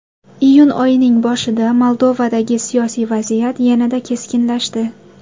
Iyun oyining boshida Moldovadagi siyosiy vaziyat yanada keskinlashdi.